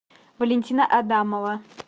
валентина адамова